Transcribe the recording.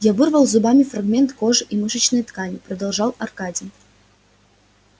я вырвал зубами фрагмент кожи и мышечной ткани продолжал аркадий